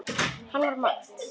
Hann var mát.